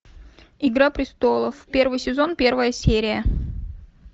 игра престолов первый сезон первая серия